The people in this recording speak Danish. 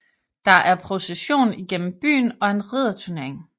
Der er procession igennem byen og en ridderturnering